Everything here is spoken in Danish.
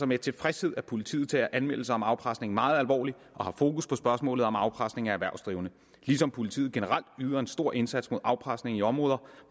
med tilfredshed at politiet tager anmeldelser om afpresning meget alvorligt og har fokus på spørgsmålet om afpresning af erhvervsdrivende ligesom politiet generelt yder en stor indsats mod afpresning i områder